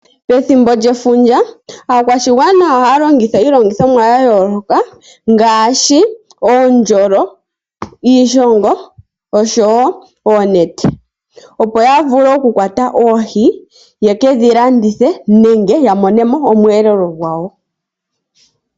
Pethimbo lyefundja aakwashigwana ohaya longitha iilongithomwa ya yooloka ngaashi oondjolo, iishongo oshowo oonete opo yavule okukwata oohi ye kedhi landithe nenge ya mone mo omweelelo gwayo.